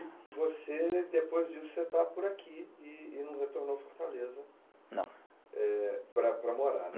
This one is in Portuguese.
você, depois disso, você está por aqui e e não retornou à Fortaleza, não, eh para para morar.